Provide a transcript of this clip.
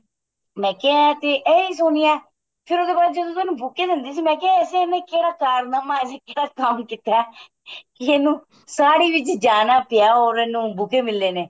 ਮੈਂ ਕਿਹਾ ਇਹ ਤੇ ਇਹ ਸੋਨੀਆ ਫੇਰ ਉਹਦੇ ਬਾਅਦ ਜਦੋਂ ਤੈਨੂੰ buke ਦੇਂਦੀ ਮੈਂ ਕਿਹਾ ਐਸਾ ਇਹਨੇ ਕਿਹੜਾ ਕਾਰਨਾਮਾ ਐਸਾ ਕਿਹੜਾ ਕੰਮ ਕੀਤਾ ਕਿ ਇਹਨੂੰ ਸਾੜੀ ਵਿੱਚ ਜਾਣਾ ਪਿਆ or ਇਹਨੂੰ buke ਮਿਲੇ ਨੇ